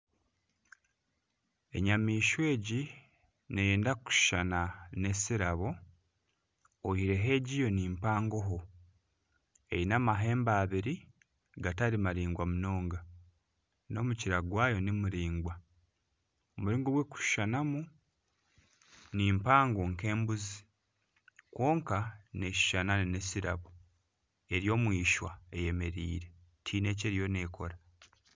Enyamaishwa egi neyenda kushushana n'esirabo oihireho egi yo nimpangoho eine amahembe abiri gatari maringwa munonga nomukira gwayo nimuringwa omuringo ogwerukushushanamu nimpango nk'embuzi kwonka neshushana n'esirabo eri omwishwa eyemereire tihaine ekyeriyo nekora.